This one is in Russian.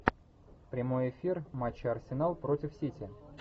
прямой эфир матча арсенал против сити